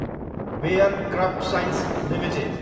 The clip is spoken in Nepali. bare crop science Ltd